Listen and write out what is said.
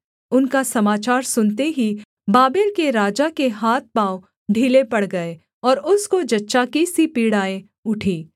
उनका समाचार सुनते ही बाबेल के राजा के हाथ पाँव ढीले पड़ गए और उसको जच्चा की सी पीड़ाएँ उठी